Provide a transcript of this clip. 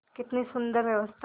कितनी सुंदर व्यवस्था